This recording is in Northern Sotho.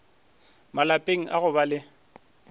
malapeng a go ba le